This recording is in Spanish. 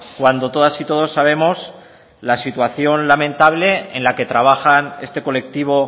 cuando todas y todos sabemos la situación lamentable en la que trabajan este colectivo